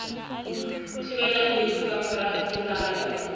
thibelang lefu ka mora ketsahalo